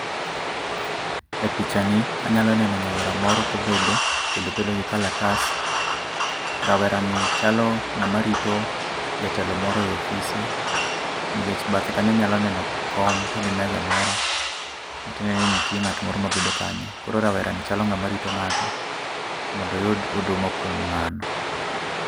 E pichani, anyalo neno nyawera moro kobedo, kendo obedo gi kalatas. Rawera ni chalo ng'ama rito jatelo moro e ofise nikech bathe kanyo anyalo neno kom to gi meza moro, matiendeni nitie ng'at moro mabedo kanyo. Koro rawera ni chalo ng'ama rito ng'ato mondo oyud huduma kuom ng'ano